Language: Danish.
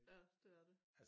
Ja det er det